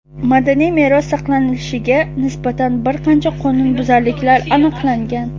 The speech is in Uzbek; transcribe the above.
madaniy meros saqlanilishiga nisbatan bir qancha qonunbuzarliklar aniqlangan.